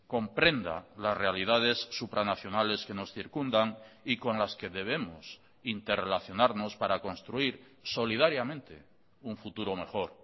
comprenda las realidades supranacionales que nos circundan y con las que debemos interrelacionarnos para construir solidariamente un futuro mejor